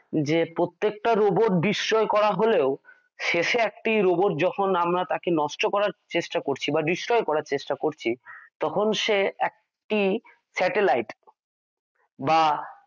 যে প্রত্যেকটা রোবট দৃশ্যয় করা হলেও শেষে একটি রোবট যখন আমরা তাকে নষ্ট করার চেষ্টা করছি বা destroy করার চেষ্টা করছি তখন সে একটি স্যাটেলাইট বা